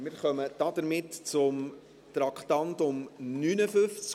Damit kommen wir zum Traktandum 59.